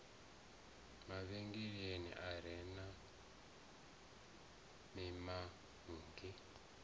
mavhengele a re na mimanngi